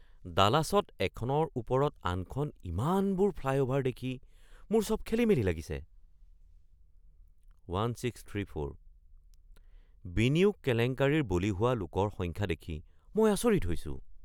ডালাছত এখনৰ ওপৰত আনখন ইমানবোৰ ফ্লাইঅ’ভাৰ দেখি মোৰ চব খেলিমেলি লাগিছে।